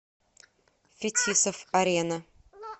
фетисов арена